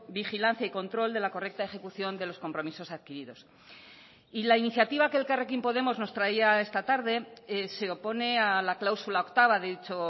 vigilancia y control de la correcta ejecución de los compromisos adquiridos y la iniciativa que elkarrekin podemos nos traía esta tarde se opone a la cláusula octava de dicho